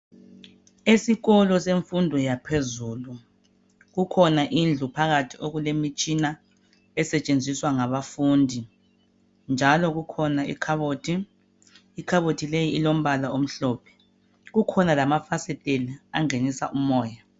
Esikolo semfundo yaphezulu kukhona indlu phakathi okulemitshina esetshenziswa ngabafundi njalo kukhona ikhabothi ikhabothi leyi ilombala omhlophe kukhona lamafasiteli angenisa umoya